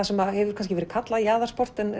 sem hefur kannski verið kallað jaðarsport en